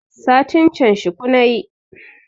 Satin can shuku nayi